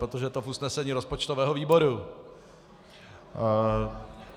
Protože to je v usnesení rozpočtového výboru.